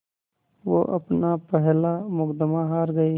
वो अपना पहला मुक़दमा हार गए